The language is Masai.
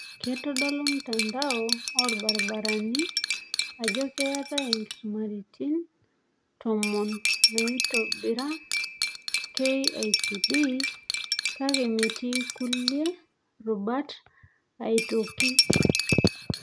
Keitodolu mtandao olaitobirani ajo keetai inkisumaitin tomon naiitobira KICD, kake metii kulie rubat aitoki.